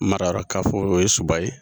Mararakafo o ye Soba ye